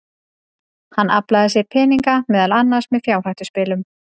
Hann aflaði sér peninga, meðal annars með fjárhættuspilum.